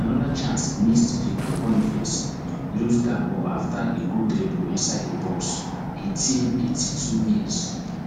anoda chance missed victor boniface lose dat ball afta a good dribble inside di box eighteen eighty-two mins